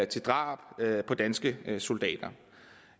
til drab på danske soldater